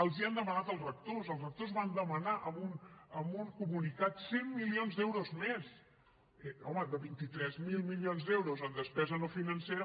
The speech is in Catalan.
els hi han demanat els rectors els rectors van demanar en un comunicat cent milions d’euros més home de vint tres mil milions d’euros en despesa no financera